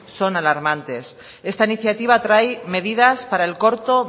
son alarmantes esta iniciativa trae medidas para el corto